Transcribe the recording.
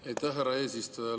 Aitäh, härra eesistuja!